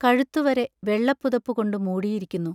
കഴുത്തുവരെ വെള്ളപ്പുതപ്പു കൊണ്ടു മൂടിയിരിക്കുന്നു.